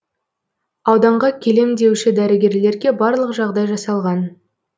ауданға келем деуші дәрігерлерге барлық жағдай жасалған